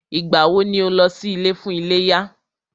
Ìgbà wọ ni o lọ sí ilé fún iléyá?